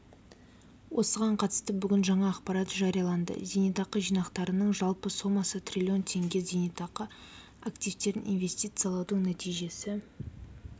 осыған қатысты бүгін жаңа ақпарат жарияланды зейнетақы жинақтарының жалпы сомасы трлн теңге зейнетақы активтерін инвестициялаудың нәтижесі